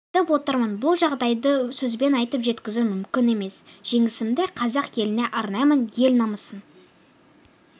жетіп отырмын бұл жағдайды сөзбен айтып жеткізу мүмкін емес жеңісімді қазақ еліне арнаймын ел намысын